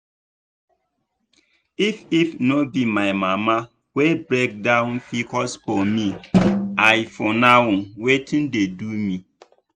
if if no be my mama wey break down pcos for me i for no know wetin dey do me.